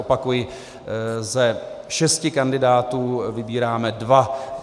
Opakuji, ze šesti kandidátů vybíráme dva.